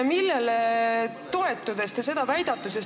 Millele toetudes te seda väitsite?